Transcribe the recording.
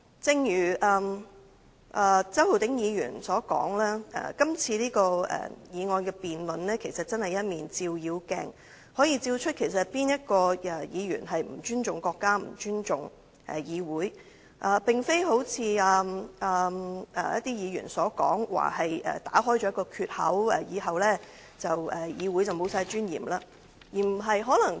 正如周浩鼎議員所說，今次的議案辯論其實真的是一面照妖鏡，可以照出哪位議員並不尊重國家、不尊重議會，並非好像某些議員所說，指議案打開了一個缺口，以後議會便完全沒有尊嚴。